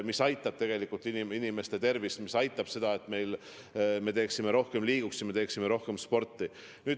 See aitab inimeste tervist hoida, see aitab kaasa, et me liiguksime rohkem, teeksime rohkem sporti.